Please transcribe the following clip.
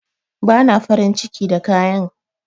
Bata farin ciki da kayan